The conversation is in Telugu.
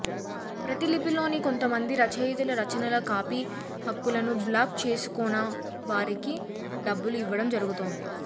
ప్రతిలిపిలోని కొంతమంది రచయితల రచనల కాపి హక్కులను బ్లాక్ చేసుకొనిౌ వారికి డబ్బులు ఇవ్వడం జరుగుతోంది